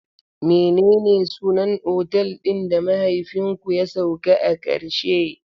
Menene sunan otal ɗin da mahaifinku ya sauka a karshe?